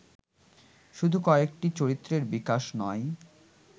শুধু কয়েকটি চরিত্রের বিকাশ নয়